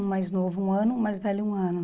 Um mais novo um ano, um mais velho um ano.